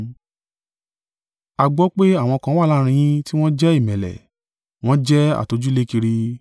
A gbọ́ pé àwọn kan wà láàrín yín tí wọn jẹ́ ìmẹ́lẹ́. Wọ́n jẹ́ atọjúlékiri.